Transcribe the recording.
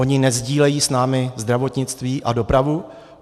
Oni nesdílejí s námi zdravotnictví a dopravu?